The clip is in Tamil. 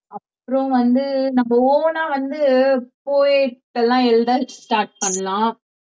அப்புறம் வந்து நம்ம own ஆ வந்து poet எல்லாம் எழுத start பண்ணலாம்